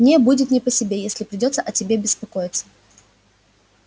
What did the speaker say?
мне будет не по себе если придётся о тебе беспокоиться